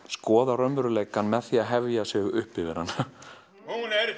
skoða raunveruleikann með því að hefja sig upp yfir hann hún er